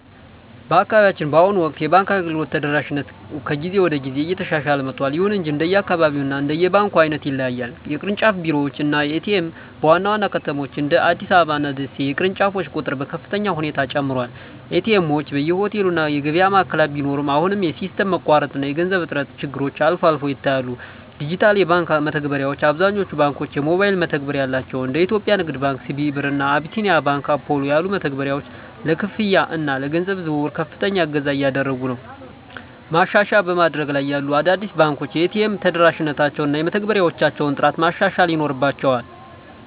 በአካባቢያችን በአሁኑ ወቅት የባንክ አገልግሎት ተደራሽነት ከጊዜ ወደ ጊዜ እየተሻሻለ መጥቷል። ይሁን እንጂ እንደየአካባቢው እና እንደ ባንኩ ዓይነት ይለያያል። ቅርንጫፍ ቢሮዎች እና ኤ.ቲ.ኤም (ATM): በዋና ዋና ከተሞች (እንደ አዲስ አበባ እና ደሴ) የቅርንጫፎች ቁጥር በከፍተኛ ሁኔታ ጨምሯል። ኤ.ቲ. ኤምዎች በየሆቴሉ እና የገበያ ማዕከላት ቢኖሩም፣ አሁንም የሲስተም መቋረጥ እና የገንዘብ እጥረት ችግሮች አልፎ አልፎ ይታያሉ። ዲጂታል የባንክ መተግበሪያዎች: አብዛኞቹ ባንኮች የሞባይል መተግበሪያ አላቸው። እንደ የኢትዮጵያ ንግድ ባንክ (CBE Birr) እና አቢሲኒያ ባንክ (Apollo) ያሉ መተግበሪያዎች ለክፍያ እና ለገንዘብ ዝውውር ከፍተኛ እገዛ እያደረጉ ነው። ማሻሻያ በማደግ ላይ ያሉ አዳዲስ ባንኮች የኤ.ቲ.ኤም ተደራሽነታቸውን እና የመተግበሪያዎቻቸውን ጥራት ማሻሻል ይኖርባ